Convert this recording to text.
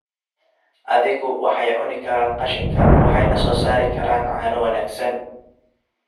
Adhigu waxay cuni karaan qashinka waxayna soo saari karaan caano wanaagsan.